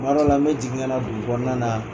Kuma dɔ la n bɛ jigin ka na dugukɔnɔna na.